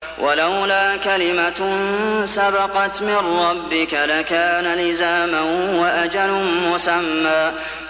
وَلَوْلَا كَلِمَةٌ سَبَقَتْ مِن رَّبِّكَ لَكَانَ لِزَامًا وَأَجَلٌ مُّسَمًّى